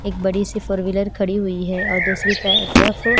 एक बड़ी सी फोर व्हीलर खड़ी हुई है और दूसरी ते तरफ--